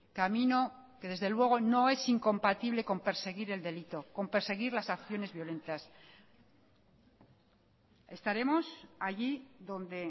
camino que desde luego no es incompatible con perseguir el delito con perseguir las acciones violentas estaremos allí donde